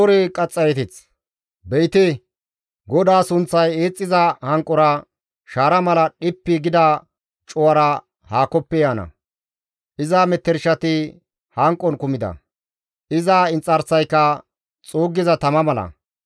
Be7ite, GODAA sunththay eexxiza hanqora, shaara mala dhippi gida cuwara haakoppe yaana; iza metershati hanqon kumida; iza inxarsayka xuuggiza tama mala.